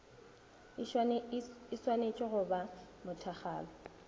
e šwanetše go ba mothakgalo